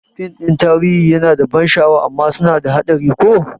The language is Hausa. Fim ɗin tarihi yana da ban sha'awa amma suna da haɗari ko?